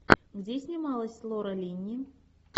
где снималась лора линни